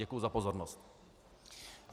Děkuji za pozornost.